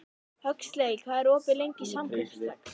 Huxley, hvað er opið lengi í Samkaup Strax?